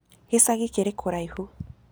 Gĩcagĩ kĩrĩ kũraĩhũ.